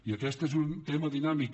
i aquest és un tema dinàmic